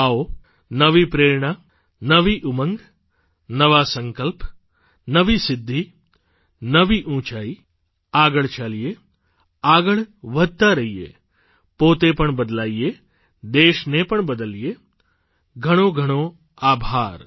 આવો નવી પ્રેરણા નવી ઉમંગ નવા સંકલ્પ નવી સિદ્ધિ નવી ઊંચાઇ આગળ ચાલીએ આગળ વધતા રહીએ પોતે પણ બદલાઇએ દેશને પણ બદલીએ ખૂબ ખૂબ આભાર